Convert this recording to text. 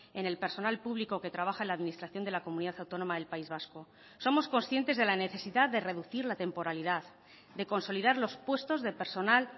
en el personal público que trabaja en la administración de la comunidad autónoma del país vasco somos conscientes de la necesidad de reducir la temporalidad de consolidar los puestos de personal